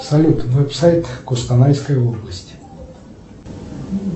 салют веб сайт кустанайской области